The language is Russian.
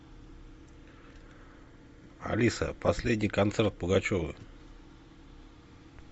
алиса последний концерт пугачевой